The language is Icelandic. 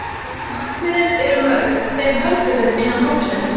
Markmiðin eru mörg, þeim höldum við innan hópsins.